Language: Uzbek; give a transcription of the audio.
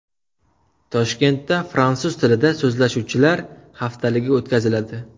Toshkentda Fransuz tilida so‘zlashuvchilar haftaligi o‘tkaziladi.